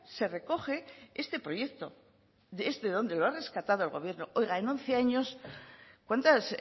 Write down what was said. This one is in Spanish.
se recoge este proyecto es de donde lo ha rescatado el gobierno oiga en once años cuántas